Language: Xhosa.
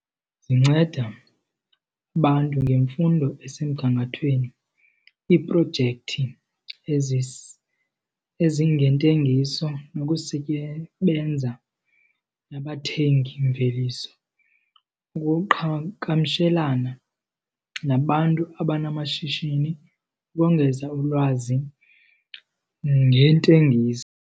Zinceda abantu ngemfundo esemgangathweni, iiprojekthi ezingentengiso nabathengimveliso. Ukuqhagamshelana nabantu abanamashishini kongeza ulwazi ngentengiso.